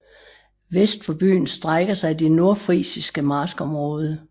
Vest for byen strækker sig det nordfrisiske marskområde